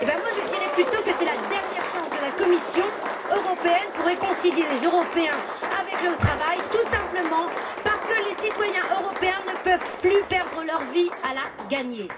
Je dirai plutôt que c'est la dernière chance de la Commission européenne de réconcilier les Européens avec le travail, tout simplement parce que les citoyens européens ne peuvent plus perdre leur vie à la gagner.